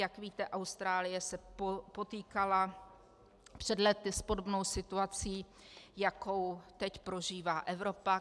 Jak víte, Austrálie se potýkala před lety s podobnou situací, jakou teď prožívá Evropa.